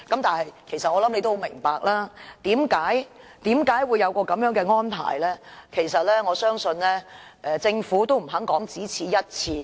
但我想他也明白為何會有這種安排，而我相信政府其實也不肯說這是"一次性安排"。